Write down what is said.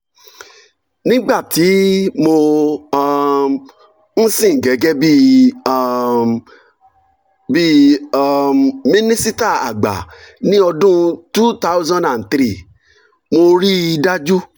nígbà tí mo um ń sìn gẹ́gẹ́ um bí um minisita àgbà ní ọdún two thousand three mo rí i dájú